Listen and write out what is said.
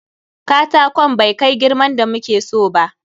Katakon bai kai girman da muke so ba.